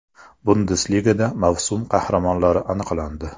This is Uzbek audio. Bundesligada mavsum qahramonlari aniqlandi.